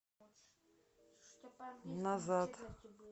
назад